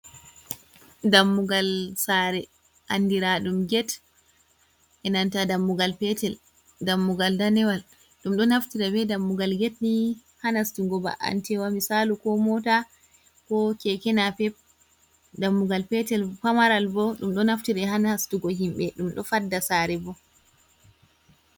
Dammugal saare anndira ɗum get, be nanta dammugal petel ,dammugal danewal ɗum ɗo naftira be dammugal get ni, ha nastugo ba’antewa misaalu ko moota ko keke nape, dammugal petel pamaral bo ,ɗum ɗo naftire haa nastugo himɓe ɗum ɗo fadda saare bo.